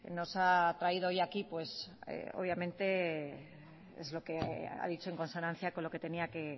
nos ha traído hoy aquí pues obviamente es lo que ha dicho en consonancia con lo que tenía